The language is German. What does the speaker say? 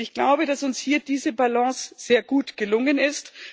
Ich glaube, dass uns hier diese Balance sehr gut gelungen ist.